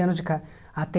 anos de ca